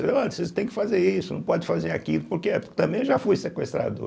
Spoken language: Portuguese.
Olhe vocês têm que fazer isso, não pode fazer aquilo, por que? Porque também eu já fui sequestrador.